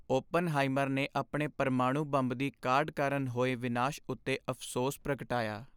Oppenheimer ਨੇ ਆਪਣੇ ਪਰਮਾਣੂ ਬੰਬ ਦੀ ਕਾਢ ਕਾਰਨ ਹੋਏ ਵਿਨਾਸ਼ ਉੱਤੇ ਅਫ਼ਸੋਸ ਪ੍ਰਗਟਾਇਆ।